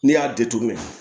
Ne y'a datugu